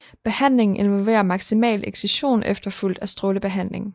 Behandlingen involverer maksimal excision efterfulgt af strålebehandling